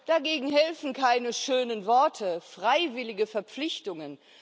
Dagegen helfen keine schönen Worte oder freiwillige Verpflichtungen.